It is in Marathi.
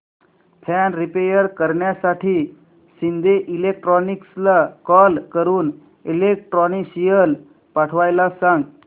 फॅन रिपेयर करण्यासाठी शिंदे इलेक्ट्रॉनिक्सला कॉल करून इलेक्ट्रिशियन पाठवायला सांग